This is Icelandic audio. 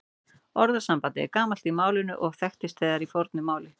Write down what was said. Orðasambandið er gamalt í málinu og þekkist þegar í fornu máli.